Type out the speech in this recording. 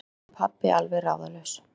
spurði pabbi alveg ráðalaus.